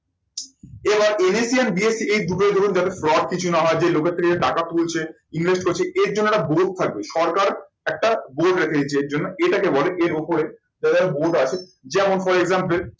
এবার NSE and BSE এই দুটো ধরুন যাতে drop কিছু না হয় যে লোকের থেকে যে টাকা তুলছে invest করছে এর জন্য একটা board থাকবে সরকার একটা board রেখে দিয়েছে এর জন্য এটাকে বলে এর ওপরে board আছে যেমন for example